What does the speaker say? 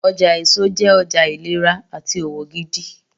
Ọjà èso jẹ́ ọjà ìlera àti òwò gidi